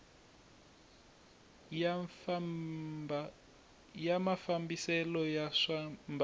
ya mafambisele ya swa mbangu